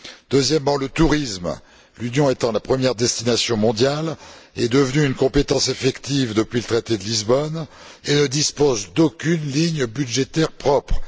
Deuxièmement, le tourisme, dont l'Union est la première destination mondiale, est devenu une compétence effective depuis le traité de Lisbonne et ne dispose d'aucune ligne budgétaire propre.